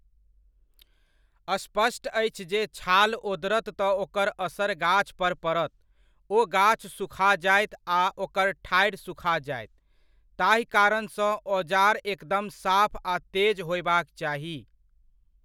स्पष्ट अछि जे छाल ओदरत तऽ ओकर असर गाछपर पड़त, ओ गाछ सुखा जायत आ ओकर ठाढ़ि सुखा जायत, ताहि कारणसँ ओजार एकदम साफ आ तेज होबय चाही।